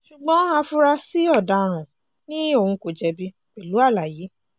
ṣùgbọ́n afurasí ọ̀daràn ni òun kò jẹ̀bi pẹ̀lú àlàyé